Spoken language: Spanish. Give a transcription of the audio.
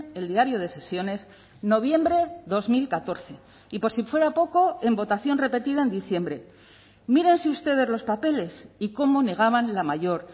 el diario de sesiones noviembre dos mil catorce y por si fuera poco en votación repetida en diciembre mírense ustedes los papeles y cómo negaban la mayor